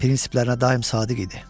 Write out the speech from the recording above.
Prinsiplərinə daim sadiq idi.